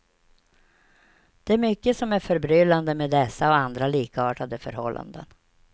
Det är mycket som är förbryllande med dessa och andra likartade förhållanden.